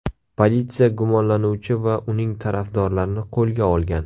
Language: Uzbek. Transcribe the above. Politsiya gumonlanuvchi va uning tarafdorlarini qo‘lga olgan.